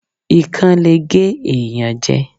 Ikán le gé ẹ̀yàn jẹ.